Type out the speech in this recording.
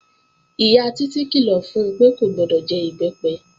Ìyá Títí kìlọ̀ fun pé kò gbọdọ̀ jẹ Ìbẹ́pẹ